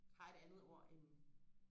har et andet ord end